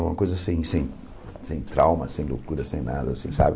É uma coisa assim sem sem trauma, sem loucura, sem nada assim, sabe?